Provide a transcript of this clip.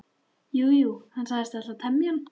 Jú, jú, hann sagðist ætla að temja hann.